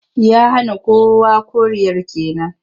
Ya hana kowa koriyar ke nan?